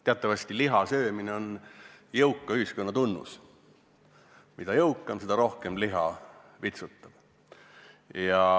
Teatavasti liha söömine on jõuka ühiskonna tunnus: mida jõukam oled, seda rohkem liha vitsutad.